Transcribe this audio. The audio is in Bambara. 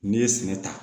N'i ye sɛnɛ ta